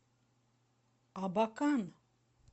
абакан